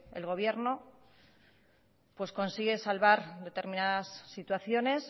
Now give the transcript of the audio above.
el gobierno consigue salvar determinadas situaciones